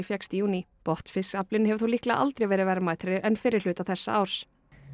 fékkst í júní botnfisksaflinn hefur þó líklega aldrei verið verðmætari en fyrri hluta þessa árs